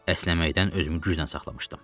Əsnəməkdən özümü güclə saxlamışdım.